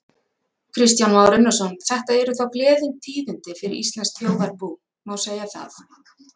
Kristján Már Unnarsson: Þetta eru þá gleðitíðindi fyrir íslenskt þjóðarbú, má segja það?